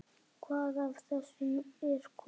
Hvað af þessu er komið?